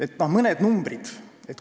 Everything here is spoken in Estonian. Toon mõned numbrid.